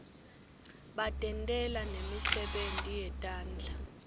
batentela nemisebenti yetandla